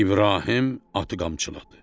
İbrahim atı qamçıladı.